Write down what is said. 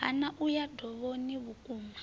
hana u ya dovhoni vhukoma